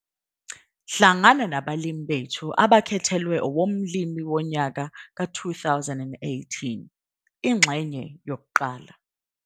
Hlangana naBalimi bethu abakhethelwe owoMlimi woNyaka 2018, ingxenye1.